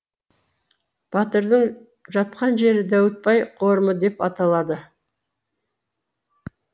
батырдың жатқан жері дәуітбай қорымы деп аталады